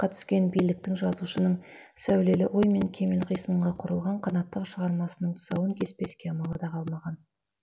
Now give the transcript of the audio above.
түскен биліктің жазушының сәулелі ой мен кемел қисынға құрылған қанатты шығармасының тұсауын кеспеске амалы да қалмаған